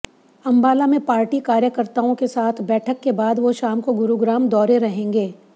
अंबाला में पार्टी कार्यकर्ताओं के साथ बैठक के बाद वो शाम को गुरुग्राम दौरे रहेंगे